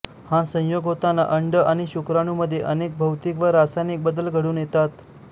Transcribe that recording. हा संयोग होताना अंड आणि शुक्राणूमध्ये अनेक भौतिक व रासायनिक बदल घडून येतात